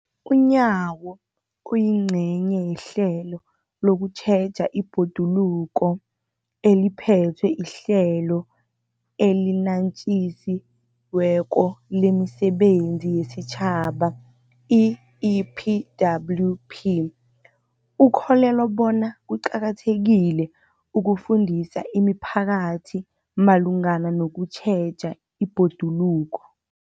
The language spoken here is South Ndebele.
UNyawo, oyingcenye yehlelo lokutjheja ibhoduluko eliphethwe liHlelo eliNatjisi weko lemiSebenzi yesiTjhaba, i-EPWP, ukholelwa bona kuqakathekile ukufundisa imiphakathi malungana nokutjheja ibhoduluko.